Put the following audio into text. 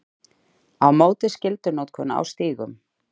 Á móti skyldunotkun á stígum